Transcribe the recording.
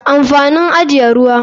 Amfanin ajiye ruwa.